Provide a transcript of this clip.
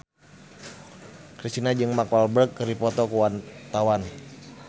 Kristina jeung Mark Walberg keur dipoto ku wartawan